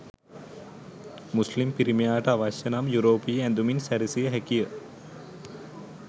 මුස්ලිම් පිරිමියාට අවශ්‍ය නම් යුරෝපීය ඇඳුමින් සැරසිය හැකිය.